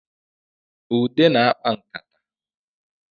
Ude na-akpa nkata